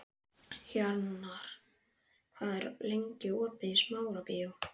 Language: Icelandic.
Stöku klettur minnti á halla turninn í Písa.